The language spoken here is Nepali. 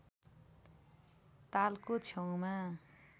तालको छेउमा